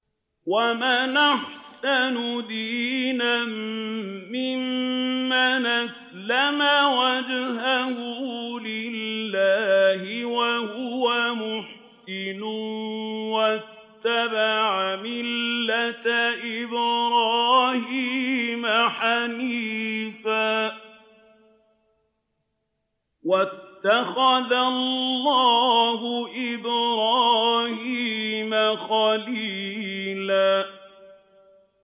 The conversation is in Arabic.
وَمَنْ أَحْسَنُ دِينًا مِّمَّنْ أَسْلَمَ وَجْهَهُ لِلَّهِ وَهُوَ مُحْسِنٌ وَاتَّبَعَ مِلَّةَ إِبْرَاهِيمَ حَنِيفًا ۗ وَاتَّخَذَ اللَّهُ إِبْرَاهِيمَ خَلِيلًا